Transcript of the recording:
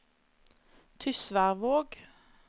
Tysværvåg